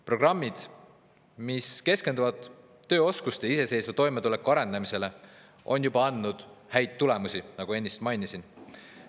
Programmid, mis keskenduvad tööoskuste ja iseseisva toimetuleku arendamisele, on juba andnud häid tulemusi, nagu ennist mainisin.